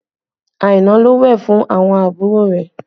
Aina ló wẹ̀ fún àwọn àbúrò rẹ̀